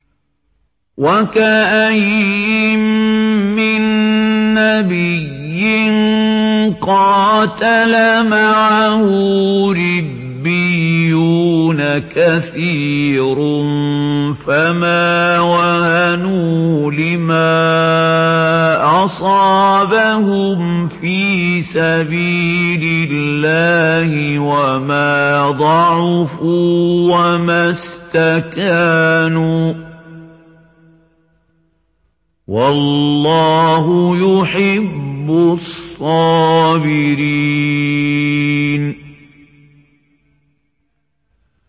وَكَأَيِّن مِّن نَّبِيٍّ قَاتَلَ مَعَهُ رِبِّيُّونَ كَثِيرٌ فَمَا وَهَنُوا لِمَا أَصَابَهُمْ فِي سَبِيلِ اللَّهِ وَمَا ضَعُفُوا وَمَا اسْتَكَانُوا ۗ وَاللَّهُ يُحِبُّ الصَّابِرِينَ